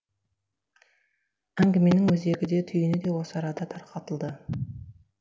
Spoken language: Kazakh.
әңгіменің өзегі де түйіні де осы арада тарқатылды